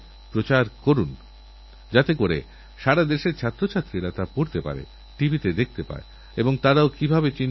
আমি চাইনা যেলালকেল্লার প্রাকার থেকে যেকথা বলা হবে তা কেবল প্রধানমন্ত্রীর কথাই হবে উপরন্তুদেশের ১২৫ কোটি জনসাধারণের কথাই বলা হবে